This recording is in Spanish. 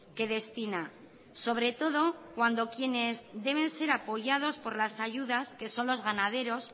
que destina sobre todo cuandoquienes deben ser apoyados por las ayudas que son los ganaderos